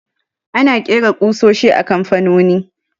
Ana ƙera ƙusoshi a kamfanoni